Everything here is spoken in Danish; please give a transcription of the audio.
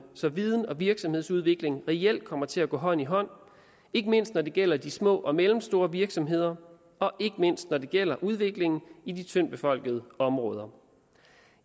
så viden og virksomhedsudvikling reelt kommer til at gå hånd i hånd ikke mindst når det gælder de små og mellemstore virksomheder og ikke mindst når det gælder udviklingen i de tyndtbefolkede områder